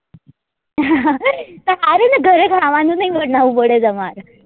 તો હારું ને ઘરે ખાવા નું નહી બનાવવું પડે તમારે